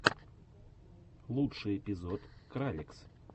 лучший эпизод кралекс